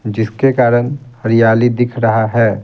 जिसके कारण हरियाली दिख रहा है।